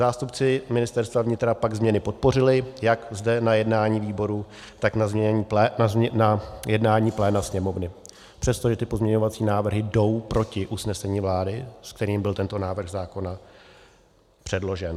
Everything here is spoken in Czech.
Zástupci Ministerstva vnitra pak změny podpořili jak zde na jednání výboru, tak na jednání pléna Sněmovny, přestože ty pozměňovací návrhy jdou proti usnesení vlády, s kterým byl tento návrh zákona předložen.